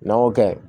N'an y'o kɛ